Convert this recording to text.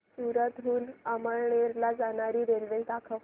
सूरत हून अमळनेर ला जाणारी रेल्वे दाखव